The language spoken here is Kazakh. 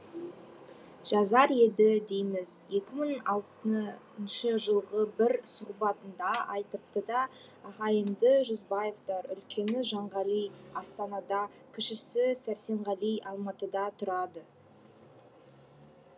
жазар еді дейміз екі мың алтыншы жылғы бір сұхбатында айтыпты да ағайынды жүзбаевтар үлкені жанғали астанада кішісі сәрсенғали алматыда тұрады